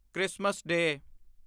Christmas ਡੇ